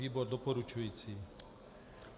Výbor doporučující.